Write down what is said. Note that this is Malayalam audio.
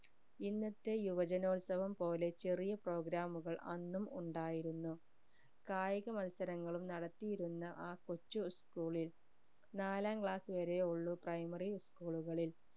ഇന്നത്തെ യുവജനോത്സവം പോലെ ചെറിയ programme കൽ അന്നും ഉണ്ടായിരുന്നു കായിക മൽസരങ്ങളും നടത്തിയിരുന്ന ആ കൊച്ചു school ൽ നാലാം class വരെ ഉള്ളു primary school ൽ